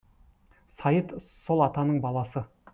сайыт сол атаның баласы